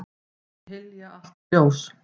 Hylja allt ljós.